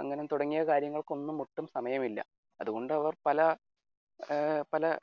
അങ്ങനെ തുടങ്ങിയ കാര്യങ്ങൾക്ക് ഒന്നും ഒട്ടും സമയമില്ല. അതുകൊണ്ട് പല ഏർ പല